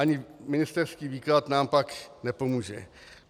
Ani ministerský výklad nám pak nepomůže.